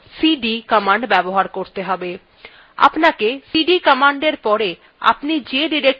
আপনাকে cd commandএর পরে আপনি যে directoryত়ে যেতে চান তার পথthe লিখতে have